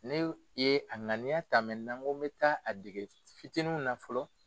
Ne ye a ŋaniya ta n ko n bɛ taa a dege fitininw na fɔlɔ.